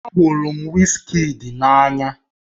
Ahụrụ m Wizkid n'anya